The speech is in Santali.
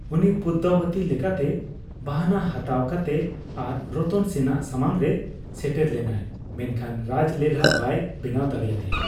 ᱩᱱᱤ ᱯᱚᱫᱢᱟᱵᱚᱛᱤ ᱞᱮᱠᱟᱛᱮ ᱵᱟᱦᱚᱱᱟ ᱦᱟᱛᱟᱣ ᱠᱟᱛᱮ ᱟᱨ ᱨᱚᱛᱚᱱ ᱥᱮᱱ ᱟᱜ ᱥᱟᱢᱟᱝ ᱨᱮ ᱥᱮᱴᱮᱨ ᱞᱮᱱᱟᱭ ᱾ ᱢᱮᱱᱠᱷᱟᱱ ᱨᱟᱡᱽ ᱞᱮᱞᱦᱟ ᱵᱟᱭ ᱵᱮᱱᱟᱣ ᱫᱟᱲᱮ ᱟᱠᱟᱫᱮᱭᱟ ᱾